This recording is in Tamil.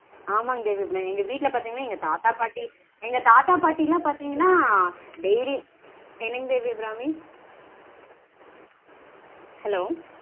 ஆமாங் தேவி அபிராமி. எங்க வீட்ல பாத்தீங்கனா எங்க தாத்தா பாட்டி எங்க தாத்தா பாட்டிலாம் பாத்தீங்கனா daily என்னங்க தேவி அபிராமி? Hello